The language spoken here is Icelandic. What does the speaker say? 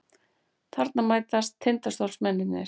Þarna mætast Tindastólsmennirnir.